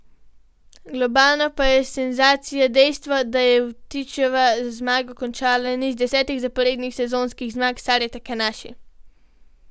Globalno pa je senzacija dejstvo, da je Vtičeva z zmago končala niz desetih zaporednih sezonskih zmag Sare Takanaši.